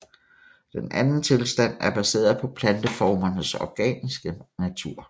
Den anden tilstand er baseret på planteformernes organiske natur